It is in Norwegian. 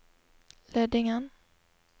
Lødingen